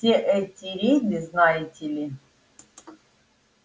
все эти рейды знаете ли